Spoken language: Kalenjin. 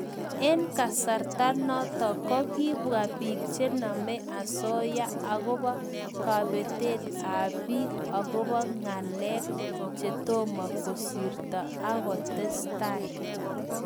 Eng kasarta notok, kokibwa bik chenamei asoya akobo kabetet ab bik akobo ngalek chetomo kisirto akotestai.